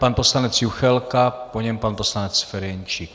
Pan poslanec Juchelka, po něm pan poslanec Ferjenčík.